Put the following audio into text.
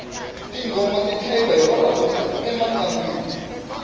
tinghoma ti chayiwa hi vavanuna emintlangwini